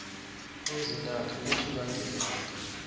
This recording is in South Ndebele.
ezintathu ukusuka ngelanga